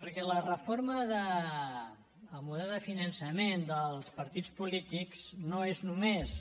perquè la reforma del model de finançament dels partits polítics no és només